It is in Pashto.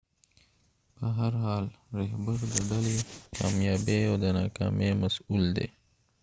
په هر حال رهبر د ډلې د کامیابۍ او ناکامۍ مسؤل دی